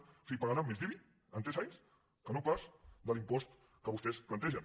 o sigui pagarà més d’ibi en tres anys que no pas de l’impost que vostès plantegen